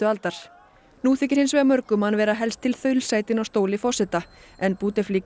aldar nú þykir hins vegar mörgum hann vera helst til þaulsætinn á stóli forseta en